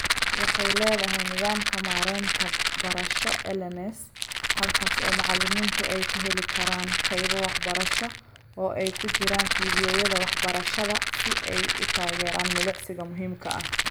Waxay leedahay nidaamka maaraynta barasho (LMS) halkaas oo macalimiintu ay ka heli karaan qaybo waxbarasho oo ay ku jiraan fiidiyowyada wax-barashada si ay u taageeraan milicsiga muhiimka ah.